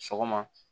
Sɔgɔma